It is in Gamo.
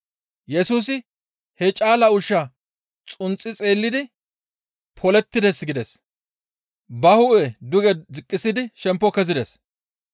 Yesusi he caala ushshaa xunxi xeellidi, «Polettides!» gides. Ba hu7e duge ziqqisidi shemppo kezides.